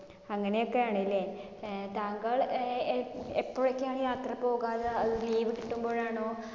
അങ്ങിനെയൊക്കെയാണല്ലേ. ഏർ താങ്കൾ അഹ് എ എപ്പോഴൊക്കെയാണ് യാത്ര പോകാറ്? അത് leave കിട്ടുമ്പോഴാണോ?